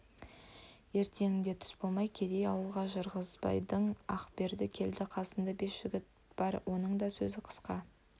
ертеңінде түс болмай кедей ауылға ырғызбайдан ақберді келді қасында бес жігіт бар оның да сөзі қысқа